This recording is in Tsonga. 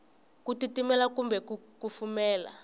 ku titimela kumbe ku kufumela